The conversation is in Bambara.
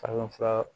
Farafinfura